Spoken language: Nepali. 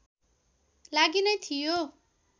लागि नै थियो